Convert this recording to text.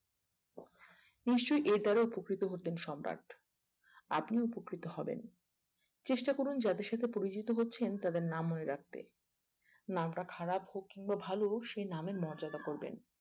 নিশ্চই এর দ্বারা উপকৃত হতেন সম্রাট আপনিও উপকৃত হবেন চেষ্টা করুন যাদের সাথে পরিচিত হচ্ছেন তাদের নাম মনে রাখতে নামটা খারাপ হোক কিংবা ভালো সে নামের মর্যাদা করবেন